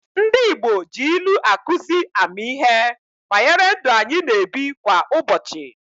Ndị Igbo ji ilu akụzi ammihe banyere ndụ anyị na-ebi kwa ụbochị.